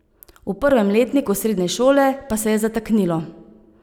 V prvem letniku srednje šole pa se je zataknilo.